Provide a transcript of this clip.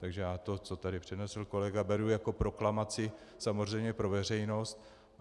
Takže já to, co tady přednesl kolega, beru jako proklamaci samozřejmě pro veřejnost.